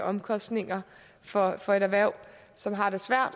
omkostninger for for et erhverv som har det svært